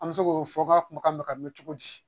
An bɛ se k'o fɔ ka kunbakan bɛ ka mɛn cogo di